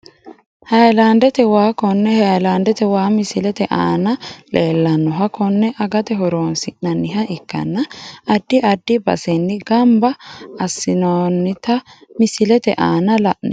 Hayilandete waa kone hayilandete waa misilete aana leelanoha konne agate horonsinaniha ikanna adi adi baseni ganba aineworoonita misillete aana la`oomo.